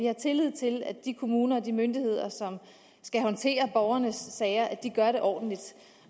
har tillid til at de kommuner og de myndigheder som skal håndtere borgernes sager gør det ordentligt